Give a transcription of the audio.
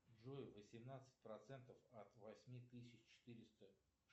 джой восемнадцать процентов от восьми тысяч четыреста